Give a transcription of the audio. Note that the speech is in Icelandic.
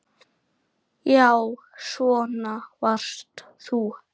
Já, svona varst þú.